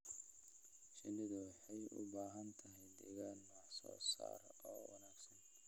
Shinnidu waxay u baahan tahay deegaan wax soo saar oo wanaagsan.